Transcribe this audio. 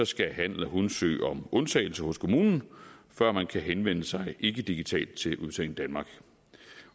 skal han eller hun søge om undtagelse hos kommunen før man kan henvende sig ikkedigitalt til udbetaling danmark